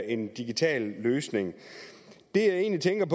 en digital løsning